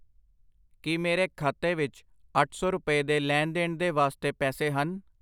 ਕਿ ਮੇਰੇ ਖਾਤੇ ਵਿੱਚ ਅੱਠ ਸੌ ਰੁਪਏ ਦੇ ਲੈਣ ਦੇਣ ਦੇ ਵਾਸਤੇ ਪੈਸੇ ਹਨ?